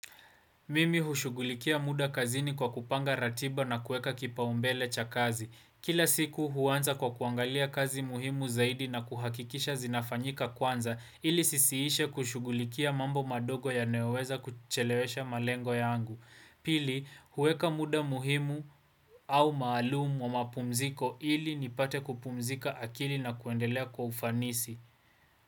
Mimi hushugulikia muda kazini kwa kupanga ratiba na kueka kipaumbele cha kazi. Kila siku huanza kwa kuangalia kazi muhimu zaidi na kuhakikisha zinafanyika kwanza ili sisiishe kushugulikia mambo madogo yanayoweza kuchelewesha malengo yangu. Pili, huweka muda muhimu au maalumu wa mapumziko ili nipate kupumzika akili na kuendelea kwa ufanisi.